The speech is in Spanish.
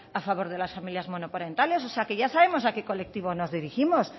a favor de las monoparentales o sea que ya sabemos a qué colectivo nos dirigimos